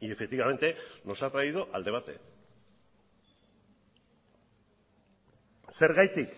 y efectivamente nos ha traído al debate zergatik